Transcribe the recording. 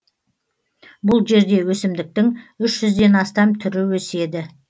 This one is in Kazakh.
бұл жерде өсімдіктің үш жүзден астам түрі өседі